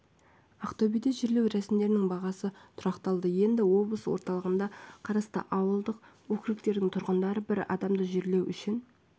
ақтөбеде жерлеу рәсімдерінің бағасы тұрақталды енді облыс орталығына қарасты ауылдық округтердің тұрғындары бір адамды жерлеу үшін